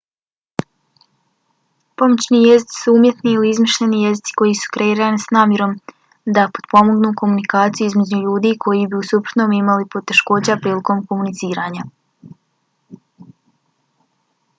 pomoćni jezici su umjetni ili izmišljeni jezici koji su kreirani s namjerom da potpomognu komunikaciju između ljudi koji bi u suprotnom imali poteškoća prilikom komuniciranja